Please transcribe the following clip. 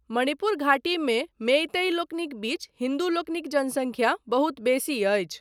मणिपुर घाटीमे मेईतेईलोकनिक बीच हिन्दूलोकनिक जनसंख्या बहुत बेसी अछि।